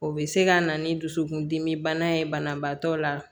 O bɛ se ka na ni dusukun dimi bana ye banabaatɔ la